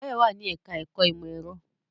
Báyọ̀ wà ní ẹ̀ká ẹ̀kọ́ ìmọ̀ ẹ̀rọ